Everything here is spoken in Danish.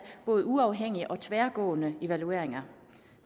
både uafhængige og tværgående evalueringer